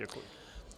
Děkuji.